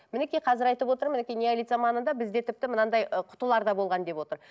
мінекей қазір айтып отыр мінекей неолит заманында бізде тіпті мынандай ы құтылар да болған деп отыр